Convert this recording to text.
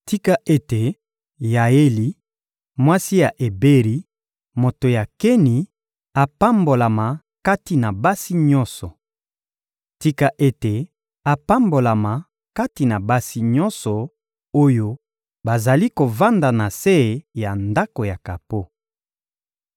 Tika ete Yaeli, mwasi ya Eberi, moto ya Keni, apambolama kati na basi nyonso! Tika ete apambolama kati na basi nyonso oyo bazali kovanda na se ya ndako ya kapo.